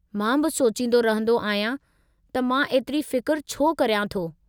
मां बि सोचींदो रहिंदो आहियां त मां एतिरी फ़िक्रु छो करियां थो।